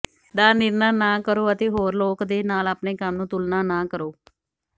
ਦਾ ਨਿਰਣਾ ਨਾ ਕਰੋ ਅਤੇ ਹੋਰ ਲੋਕ ਦੇ ਨਾਲ ਆਪਣੇ ਕੰਮ ਨੂੰ ਤੁਲਨਾ ਨਾ ਕਰੋ